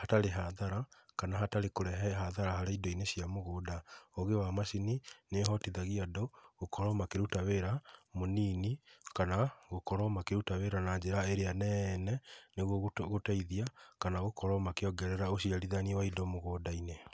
hatarĩ hathara kana hatarĩ kũrehe hathara harĩ indo-inĩ cia mũgũnda. Ũũgĩ wa macini nĩ uhotithagia andũ gũkorwo makĩruta wĩra mũnini kana gũkorwo makĩruta wĩra na njĩra ĩrĩa nene nĩguo gũteithia kana gũkorwo makíĩongerera ũciarithania wa indo mũgũnda-inĩ.